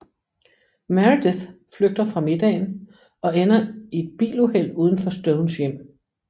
Meredith flygter fra middagen og ender i et biluheld uden for Stones hjem